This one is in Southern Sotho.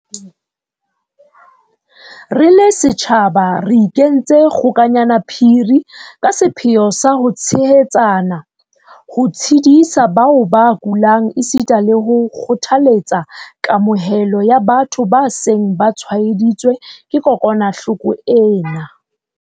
Re le setjhaba re ikentse kgokanyana phiri ka sepheo sa ho tshehetsana, ho tshedisa bao ba kulang esita le ho kgothaletsa kamohelo ya batho ba seng ba tshwaeditswe ke kokwanahloko ena.